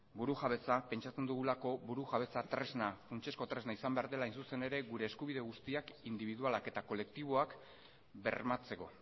burujabetza pentsatzen dugulako burujabetza funtsezko tresna izan behar dela hain zuzen ere gure eskubide guztiak indibidualak eta kolektiboak bermatzeko